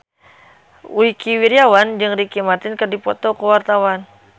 Wingky Wiryawan jeung Ricky Martin keur dipoto ku wartawan